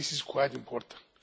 This is quite important.